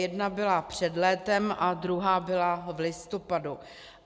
Jedna byla před létem a druhá byla v listopadu.